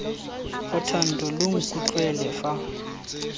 ga thando lo nkutlwe fa